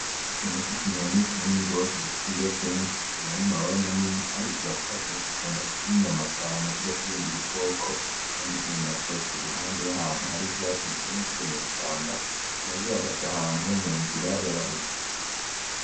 Ikintu c'ikinyoni kinini gose gifise ibiro vyinshi kikagira n'amababa manini kandi kirakaze gikunda kurya inyama cane kurya kw'ibindi bikoko kandi ikindi naco kiri iruhande yahantu hari 'ivyatsi vyinshi mw'ishamba kikaba gihagaze ahantu munzira yabahita.